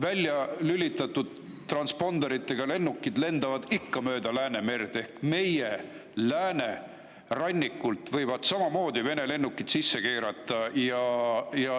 Välja lülitatud transponderitega lennukid lendavad ikka Läänemere kohal ehk siis meie lääneranniku kohalt võivad samamoodi Vene lennukid sisse keerata.